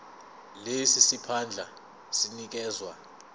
lesi siphandla sinikezwa